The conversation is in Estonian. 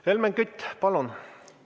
Helmen Kütt, palun!